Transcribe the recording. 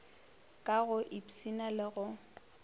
ka go ipshina le go